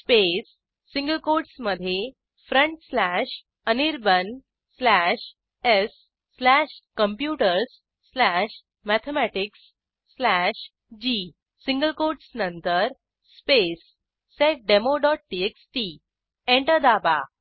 space single कोटसमधे front slash Anirban slash स् slash computers slash mathematics slash G single quotes नंतर space seddemoटीएक्सटी enter दाबा